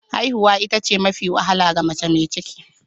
Haihuwa ita ce mafi wahala ga mace mai ciki.